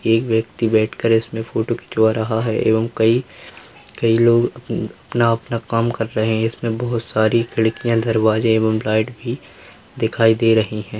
एक व्यक्ति बैठ कर इसमें फोटो खिंचवा रहा है एवं कई कई लोग अपन अपना-अपना काम कर रहें हैं। इसमें बहुत सारी खिड़कियाँ दरवाजें एवं लाइट भी दिखाई दे रहीं हैं।